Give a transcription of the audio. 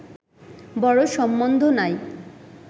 বড় সম্বন্ধ নাই